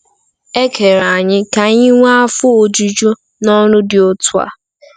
E kere anyị ka anyị nwee afọ ojuju n’ọrụ dị otu a.